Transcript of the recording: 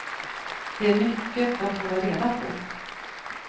Det är mycket att hålla reda på.